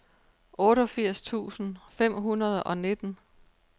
otteogfirs tusind fem hundrede og nitten